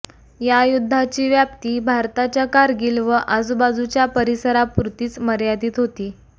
या युद्धाची व्याप्ती भारताच्या कारगिल व आजूबाजूच्या परिसरापुरतीच मर्यादित होती